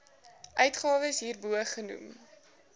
uitgawes hierbo genoem